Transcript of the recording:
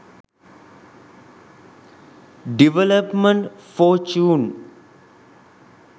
development fortune